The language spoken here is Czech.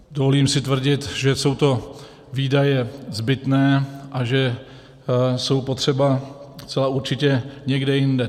Dovolím si tvrdit, že jsou to výdaje zbytné a že jsou potřeba zcela určitě někde jinde.